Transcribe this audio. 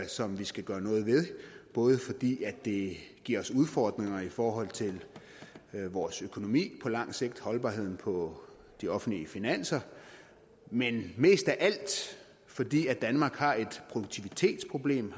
som vi skal gøre noget ved både fordi det giver os udfordringer i forhold til vores økonomi på lang sigt holdbarheden på de offentlige finanser men mest af alt fordi danmark har et produktivitetsproblem